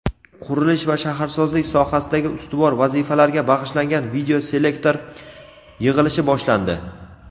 qurilish va shaharsozlik sohasidagi ustuvor vazifalarga bag‘ishlangan videoselektor yig‘ilishi boshlandi.